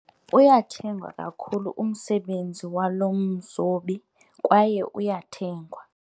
Uyathengwa kakhulu umsebenzi walo mzobi kwaye uyathengwa.